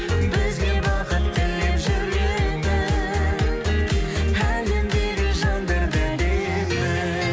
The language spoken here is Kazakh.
бізге бақыт тілеп жүретін әлемдегі жандар да әдемі